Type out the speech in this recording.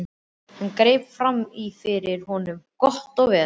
Hann greip fram í fyrir honum: Gott og vel.